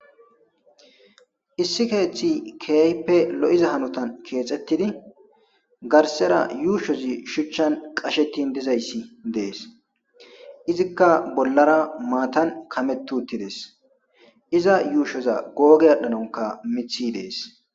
Issi keeththi keyaype lo'iza hanotan keexettidi garsera yuushozi shuchchan qashetin dizayssi dees izikka bollara maatan kametu uttides iza yuushoza googe adhdhanonka mithi dees.